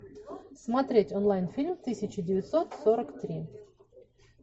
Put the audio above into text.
смотреть онлайн фильм тысяча девятьсот сорок три